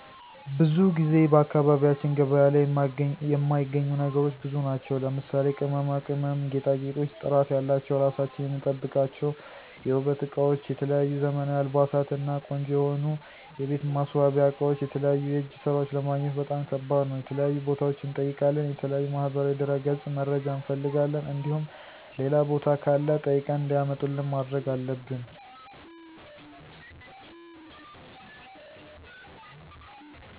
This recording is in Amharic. ብዙ ጊዜ በአካባቢያችን ገበያ ላይ የማይገኙ ነገሮች ብዙ ናቸው ለምሳሌ:- ቅመማ ቅመም፣ ጌጣጌጦች፣ ጥራት ያላቸው ራሳችን የምንጠብቅባችው የውበት እቃወች፣ የተለያዩ ዘመናዊ አልባሳት እና ቆንጆ የሆኑ የቤት ማሰዋሲያ አቃወች የተለያዩ የእጀ ሰራወች ለማግኘት በጣም ከባድ ነው። የተለያዩ ቦታዋች እንጠይቃለን የተለያዩ ማህበራዊ ድረገጽ መረጃ እንፍልጋለን እንዲሁም ሌላ ቦታ ካለ ጠይቀን እንዲያመጡልን ማድረግ አለብን።